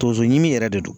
Tonso ɲimi yɛrɛ de don